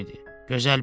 Gözəl bir gün.